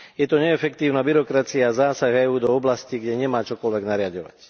Je to neefektívna byrokracia a zásah EÚ do oblastí, kde nemá čokoľvek nariaďovať.